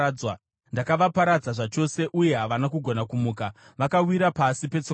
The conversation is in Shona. Ndakavaparadza zvachose, uye havana kugona kumuka; vakawira pasi petsoka dzangu.